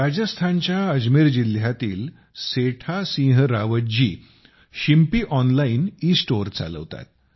राजस्थानच्या अजमेर जिल्ह्यातील Seta Singh Rawat ji tailor online e store चालवतात